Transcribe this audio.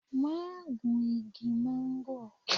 Ma gún igi máńgò